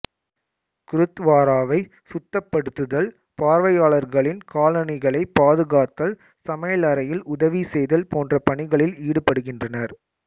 குருத்வாராவை சுத்தப்படுத்துதல் பார்வையாளர்களின் காலணிகளைப் பாதுகாத்தல் சமையலறையில் உதவி செய்தல் போன்ற பணிகளில் ஈடுபடுகின்றனர்